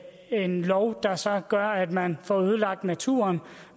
en lov der så gør at man får ødelagt naturen